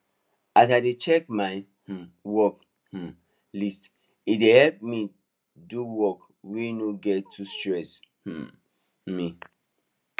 as i dey check my um work um list e dey help me do work wey no go too stress um me